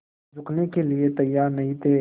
झुकने के लिए तैयार नहीं थे